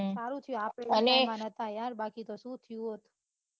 સારું થયું આપડે એ જમાનામાં નતા યાર બાકી તો સુ થયું હોત